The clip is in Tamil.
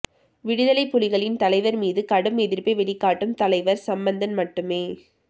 விடுதலைப் புலிகளின் தலைவர் மீது கடும் எதிர்ப்பை வெளிக்காட்டும் தலைவர் சம்பந்தன் மட்டுமே